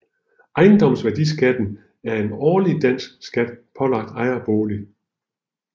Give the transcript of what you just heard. Ejendomsværdiskatten er en årlig dansk skat pålagt ejerboliger